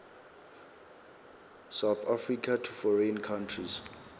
south africa to foreign countries